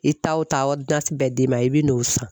I taa o taa bɛ d'i ma i bɛ n'o san